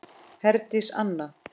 Herdís Anna.